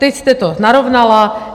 Teď jste to narovnala.